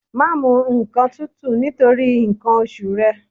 Má mu nǹkan tútù nítorí nǹkan oṣù rẹ.